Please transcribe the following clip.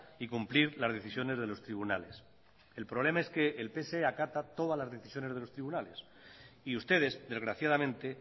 y cumplir las decisiones de los tribunales el problema es que el pse acata todas las decisiones de los tribunales y ustedes desgraciadamente